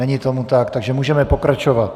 Není tomu tak, takže můžeme pokračovat.